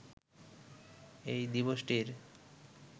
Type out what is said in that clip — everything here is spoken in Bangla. এই দিবসটির